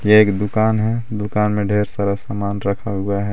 ये एक दुकान है दुकान में ढेर सारा समान रखा हुआ है.